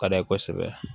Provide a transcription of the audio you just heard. Ka d'a ye kosɛbɛ